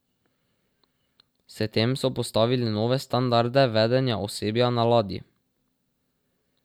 S tem so postavili nove standarde vedenja osebja na ladji.